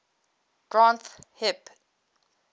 granth hib